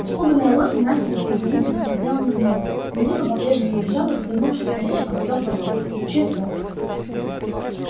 испуганная лосем настенька изумительно смотрела на змею гадюка по-прежнему лежала свернувшись колечком в теплом луче солнца